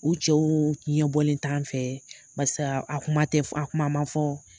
U cɛw ɲɛbɔlen t'an fɛ . Paseke a kuma tɛ, a kuma man fɔ